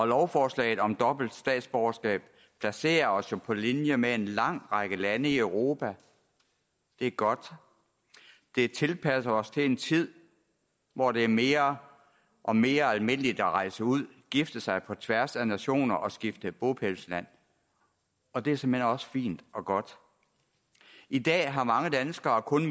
lovforslaget om dobbelt statsborgerskab placerer os jo på linje med en lang række lande i europa det er godt det tilpasser os til en tid hvor det er mere og mere almindeligt at rejse ud gifte sig på tværs af nationer og skifte bopælsland og det er såmænd også fint og godt i dag har mange danskere kun